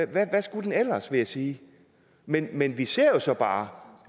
hvad skulle det ellers være vil jeg sige men men vi ser jo så bare